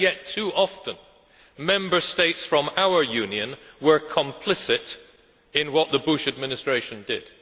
Yet, too often, Member States from our Union were complicit in what the Bush Administration did.